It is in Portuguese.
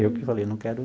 Eu que falei, não quero.